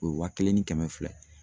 O ye waa kelen ni kɛmɛ fila ye.